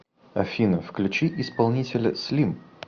афина включи исполнителя слим